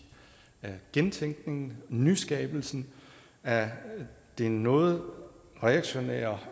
gentænkningen og nyskabelsen af det noget reaktionære